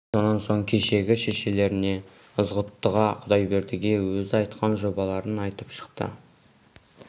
абай сонан соң кешегі шешелеріне ызғұттыға құдайбердіге өзі айтқан жобаларын айтып шықты